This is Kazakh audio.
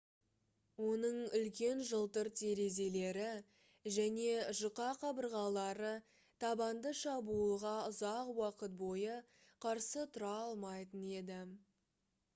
оның үлкен жылтыр терезелері және жұқа қабырғалары табанды шабуылға ұзақ уақыт бойы қарсы тұра алмайтын еді